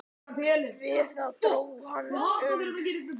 Við það dró hann um.